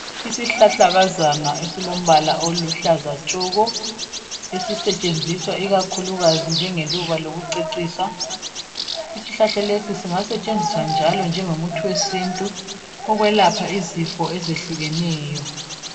Isihlahlakazana esilombala oluhlaza tshoko. Esisetshenziswa ikakhulukazi njengeluba lokucecisa. Isihlahla lesi singasetshenziswa njalo njengomuthi wesintu ukwelapha izifo ezehlukeneyo